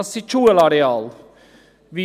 Wie wollen Sie …